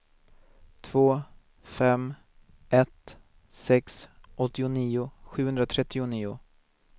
två fem ett sex åttionio sjuhundratrettionio